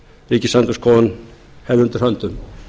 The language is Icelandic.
ríkisendurskoðun hefði undir höndum